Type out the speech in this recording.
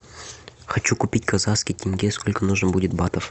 хочу купить казахский тенге сколько нужно будет батов